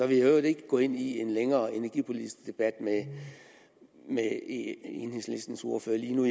vil i øvrigt ikke gå ind i en længere energipolitisk debat med enhedslistens ordfører lige nu